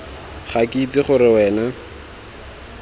ga ke itse gore wena